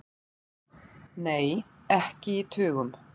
Nei, ekki í tugum.